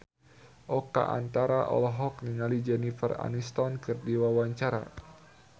Oka Antara olohok ningali Jennifer Aniston keur diwawancara